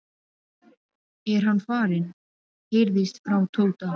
er hann farinn? heyrðist frá Tóta.